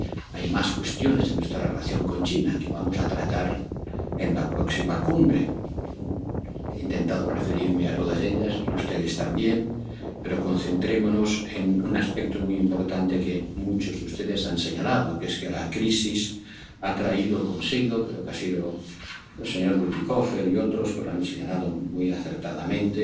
actividad al respecto. Hay más cuestiones en nuestra relación con China, que vamos a tratar en la próxima cumbre. He intentado referirme a todas ellas, y ustedes también, pero concentrémonos en un aspecto muy importante que muchos de ustedes han señalado, que es que la crisis ha traído consigo —creo que han sido el señor Bütikofer y otros quienes lo han